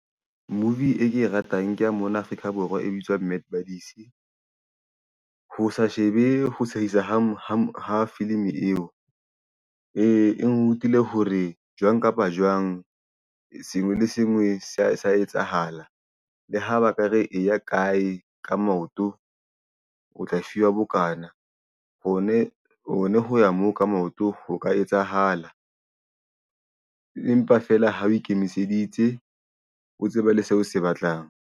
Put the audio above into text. Movie e ke e ratang ke ya mona Afrika Borwa, e bitswang Mad Buddies. Ho sa shebe ho sehisa ho ha filim-i eo nrutile hore jwang kapa jwang sengwe le sengwe sa sa etsahala. Le ho baka re eya kae ka maoto o tla fiwa bokana, ho ne ho ya moo ka maoto ho ka etsahala empa feela ha o ikemiseditse, o tsebe le seo o se batlang.